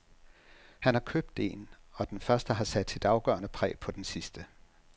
Han har købt en Og den første har sat sit afgørende præg på den sidste.